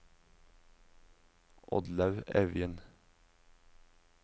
Oddlaug Evjen